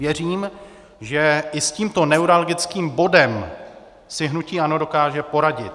Věřím, že i s tímto neuralgickým bodem si hnutí ANO dokáže poradit.